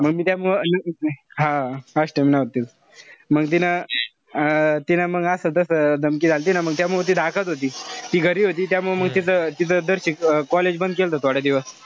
मंग मी त्यामुळं हा अष्टमी नाव तीच. मंग तीन अं तिनं मंग असं तस धमकी झालती ना म तेव्हा मी ती रागात होती. ती घरी होती त्यामुळं म तिथं तिथं college बंद केलंत थोडे दिवस.